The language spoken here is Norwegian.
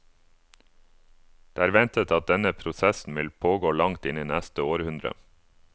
Det er ventet at denne prosessen vil pågå langt inn i neste århundre.